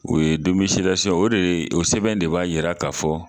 U ye o de ye o sɛbɛn de b'a yira ka fɔ